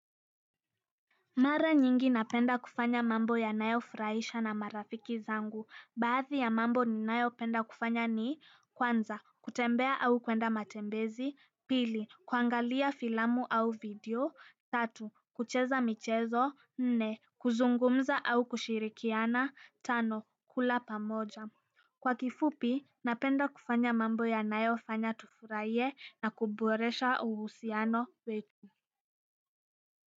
Mara nyingi napenda kufanya mambo ya nayo furaisha na marafiki zangu baadhi ya mambo ni nayopenda kufanya ni kwanza kutembea au kwenda matembezi pili kuangalia filamu au video tatu kucheza michezo nne kuzungumza au kushirikiana tano kula pamoja kwa kifupi napenda kufanya mambo yanayo fanya tufurahie na kuboresha uhusiano wetu.